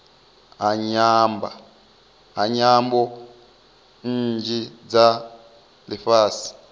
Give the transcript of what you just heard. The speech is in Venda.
ha nyambo nnzhi dza lifhasi